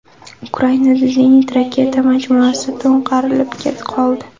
Ukrainada zenit-raketa majmuasi to‘nkarilib qoldi.